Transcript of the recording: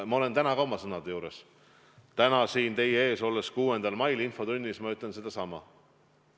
Ma jään täna ka oma sõnade juurde: täna, 6. mail siin infotunnis ma ütlen sedasama.